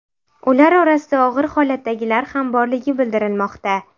Ular orasida og‘ir holatdagilar ham borligi bildirilmoqda.